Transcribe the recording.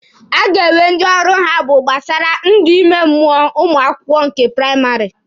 A ga-enwe ndị ọrụ ha bụ kpasara ndụ ime mmụọ ụmụ akwụkwọ nke praịmarị.